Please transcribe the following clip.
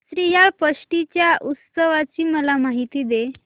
श्रीयाळ षष्टी च्या उत्सवाची मला माहिती दे